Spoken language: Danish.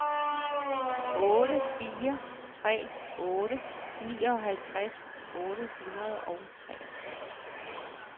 otte fire tre otte nioghalvtreds otte hundrede og treogtres